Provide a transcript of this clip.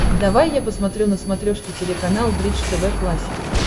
давай я посмотрю на смотрешке телеканал бридж тв классик